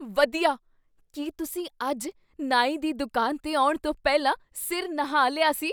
ਵਧੀਆ! ਕੀ ਤੁਸੀਂ ਅੱਜ ਨਾਈ ਦੀ ਦੁਕਾਨ 'ਤੇ ਆਉਣ ਤੋਂ ਪਹਿਲਾਂ ਸਿਰ ਨਹਾ ਲਿਆ ਸੀ?